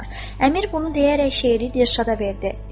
Əmir bunu deyərək şeiri Dilşada verdi.